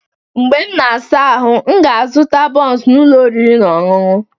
Mgbe m na-asa ahụ, m ga-aga zụta bunsu n'ụlọ oriri na ọṅụṅụ